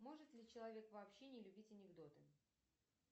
может ли человек вообще не любить анекдоты